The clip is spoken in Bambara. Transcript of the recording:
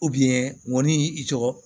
ŋɔni i tɔgɔ